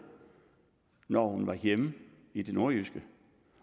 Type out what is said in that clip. når hun var hjemme i det nordjyske